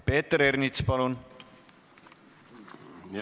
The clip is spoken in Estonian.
Peeter Ernits, palun!